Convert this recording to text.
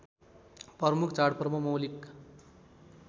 प्रमुख चाडपर्व मौलिक